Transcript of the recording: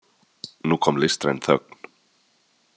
Nú kom listræn þögn.